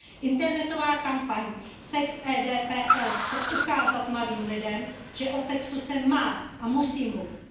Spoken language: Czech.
Internetová kampaň sexedPL chce ukázat mladým lidem, že o sexu se má a musí mluvit.